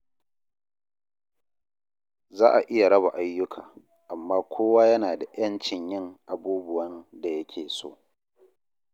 Za a iya raba ayyuka, amma kowa yana da ‘yancin yin abubuwan da yake so.